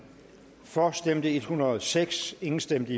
for stemte en hundrede og seks imod stemte